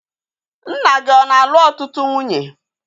Nna gị ọ na-alụ ọtụtụ nwunye?